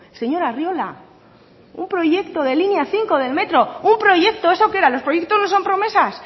señor arriola un proyecto de línea cinco de metro un proyecto eso qué era los proyectos no son promesas